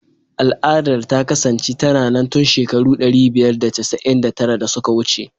Al'adar ta kasance tana nan tun shekaru ɗari biyar da casa'in da tara da suka wuce.